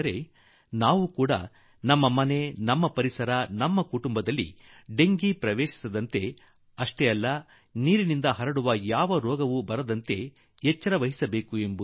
ಆದರೆ ನಾವು ಕೂಡಾ ನಮ್ಮ ಮನೆಯಲ್ಲಿ ಬಡಾವಣೆಯಲ್ಲಿ ನಮ್ಮ ಕುಟುಂಬದಲ್ಲಿ ಡೆಂಗಿ ಪ್ರವೇಶಿಸದಂತೆ ಹಾಗೂ ನೀರಿನಿಂದ ಹುಟ್ಟುವ ಯಾವುದೇ ಕಾಯಿಲೆ ಬಾರದಂತೆ ಈ ಬಗ್ಗೆ ಜಾಗೃತೆ ವಹಿಸುವುದು ಅಗತ್ಯ